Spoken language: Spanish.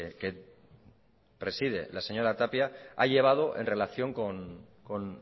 que preside la señora tapia ha llevado en relación con